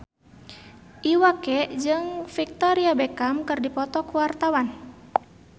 Iwa K jeung Victoria Beckham keur dipoto ku wartawan